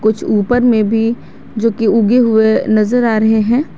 कुछ ऊपर में भी जो की उगे हुए नजर आ रहे हैं।